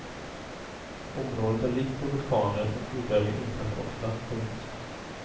Området är rikt på vulkaner och jordbävningar inträffar ofta. punkt